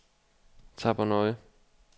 Tappernøje